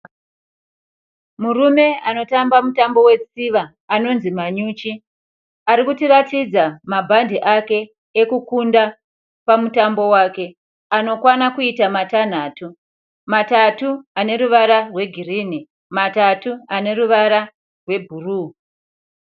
Murume anotamba mutambo wetsiva anonzi Manyuchi. Arikutiratidza mabhande ake ekukunda pamutambo wake anokwana kuita matanhatu. Matatu aneruvara rwegirini, matatu aneruvara rwebhuruu.